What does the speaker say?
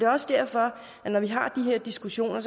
også derfor at når vi har de her diskussioner